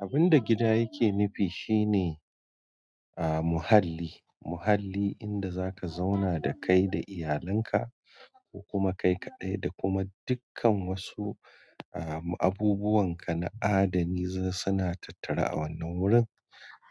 Abun da gida yake nufi shine ah, muhalli muhalli inda zaka zauna da kai da iyalanka ko kuma kai kaɗai da kuma dukkan wasu. Ah, abubuwanka na adani suna tattare a wannan wurin